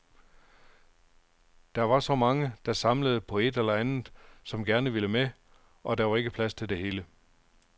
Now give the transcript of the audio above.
Der var så mange, der samlede på et eller andet, som gerne ville med, og der var ikke plads til det hele.